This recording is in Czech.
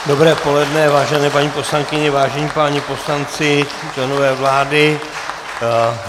Dobré poledne, vážené paní poslankyně, vážení páni poslanci, členové vlády.